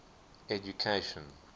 education